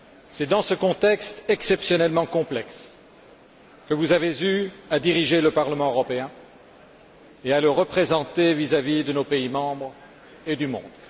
C'est dans ce contexte exceptionnellement complexe que vous avez eu à diriger le Parlement européen et à le représenter devant nos États membres et le monde.